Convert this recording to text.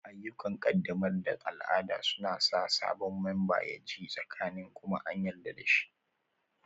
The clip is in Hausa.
Ayyukan ƙaddamar da al'ada suna sa sabon memba ya ji tsakanin kuma an yarda da shi